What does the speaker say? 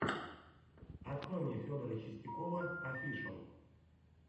открой мне федора чистякова офишал